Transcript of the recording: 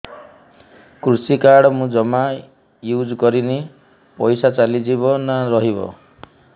କୃଷି କାର୍ଡ ମୁଁ ଜମା ୟୁଜ଼ କରିନି ପଇସା ଚାଲିଯିବ ନା ରହିବ